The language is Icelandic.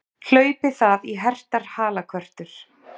Hlaupi það í hertar halakörtur!